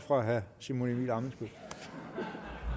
fra herre simon emil ammitzbøll